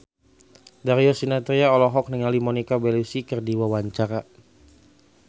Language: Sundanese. Darius Sinathrya olohok ningali Monica Belluci keur diwawancara